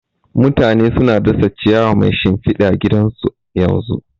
Mutane suna dasa ciyawa mai shimfida gidan su yanzu